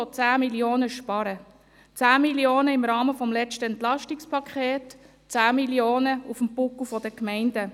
Der Kanton will 10 Mio. Franken sparen, 10 Mio. Franken im Rahmen des letzten EP, 10 Mio. Franken auf dem Buckel der Gemeinden.